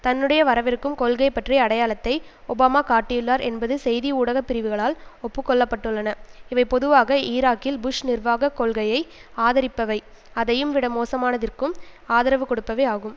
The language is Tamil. தன்னுடைய வரவிருக்கும் கொள்கை பற்றிய அடையாளத்தை ஒபாமா காட்டியுள்ளார் என்பது செய்தி ஊடக பிரிவுகளால் ஒப்புக்கொள்ளப்பட்டுள்ளன இவை பொதுவாக ஈராக்கில் புஷ் நிர்வாக கொள்கையை ஆதரிப்பவை அதையும் விட மோசமானதிற்கும் ஆதரவு கொடுப்பவை ஆகும்